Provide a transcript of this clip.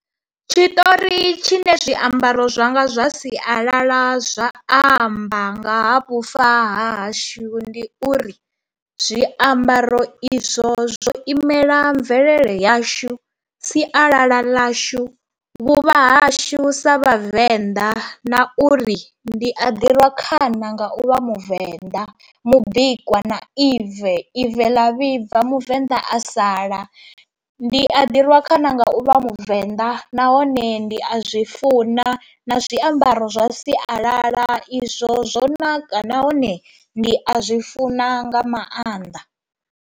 Tshitori tshi ne zwiambaro zwanga zwa sialala zwa amba nga ha vhufa hahashu ndi uri zwiambaro izwo zwo imela mvelele yashu, sialala ḽashu, vhuvha hashu sa vhavenḓa na uri ndi a ḓirwa khana nga u vha muvenḓa mubikwa na ive, ive ḽa vhibva muvenḓa a sala. Ndi a ḓirwa khana nga uvha muvenḓa nahone ndi a zwi funa na zwiambaro zwa sialala izwo zwo naka nahone ndi a zwi funa nga maanḓa.